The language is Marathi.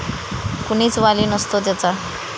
कुणीच वाली नसतो त्याचा.